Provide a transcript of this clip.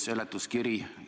Suur tänu!